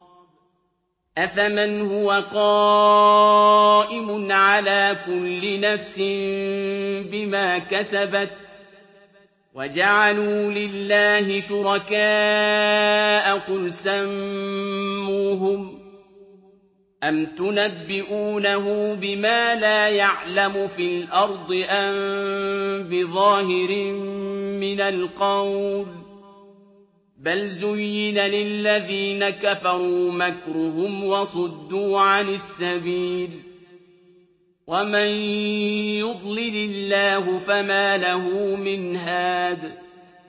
أَفَمَنْ هُوَ قَائِمٌ عَلَىٰ كُلِّ نَفْسٍ بِمَا كَسَبَتْ ۗ وَجَعَلُوا لِلَّهِ شُرَكَاءَ قُلْ سَمُّوهُمْ ۚ أَمْ تُنَبِّئُونَهُ بِمَا لَا يَعْلَمُ فِي الْأَرْضِ أَم بِظَاهِرٍ مِّنَ الْقَوْلِ ۗ بَلْ زُيِّنَ لِلَّذِينَ كَفَرُوا مَكْرُهُمْ وَصُدُّوا عَنِ السَّبِيلِ ۗ وَمَن يُضْلِلِ اللَّهُ فَمَا لَهُ مِنْ هَادٍ